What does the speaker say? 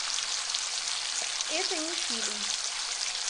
это не фильм